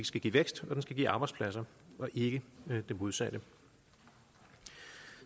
skal give vækst og give arbejdspladser og ikke det modsatte